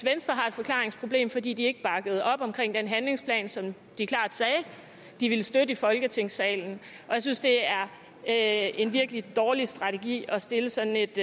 venstre har et forklaringsproblem fordi de ikke bakkede op om den handlingsplan som de klart sagde de ville støtte i folketingssalen og jeg synes det er er en virkelig dårlig strategi at stille sådan et